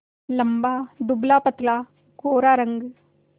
लंबा दुबलापतला गोरा रंग